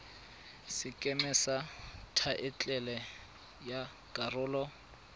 sekeme sa thaetlele ya karolo